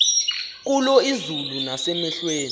kulo izulu nasemehlweni